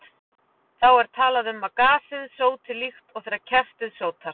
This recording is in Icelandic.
Þá er talað um að gasið sóti, líkt og þegar kerti sótar.